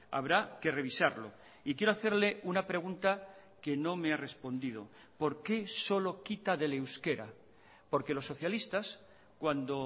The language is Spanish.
habrá que revisarlo y quiero hacerle una pregunta que no me ha respondido por qué solo quita del euskera porque los socialistas cuando